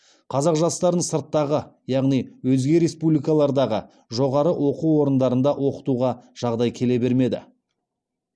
қазақ жастарын сырттағы яғни өзге республикалардағы жоғары оқу орнындарында оқытуға жағдай келе бермеді